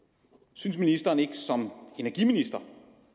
synes ministeren ikke som energiminister